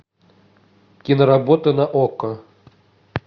киноработа на окко